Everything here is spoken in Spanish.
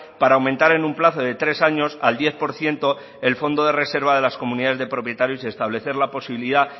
para aumentar en un plazo de tres años al diez por ciento el fondo de reserva de las comunidades de propietarios y establecer la posibilidad